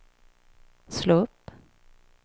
slå upp